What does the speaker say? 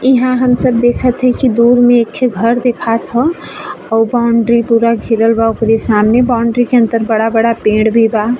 इहा हम सब देखत हइ कि दूर में एखे घर देखात ह और बाउंड्री पूरा घिरल बा। ओकरे सामने बाउंड्री के अन्दर बड़ा-बड़ा पेड़ भी बा।